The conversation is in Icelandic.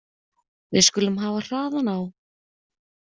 Við skulum hafa hraðann á.